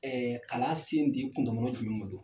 kalan sen te kundamana jumɛn ma do.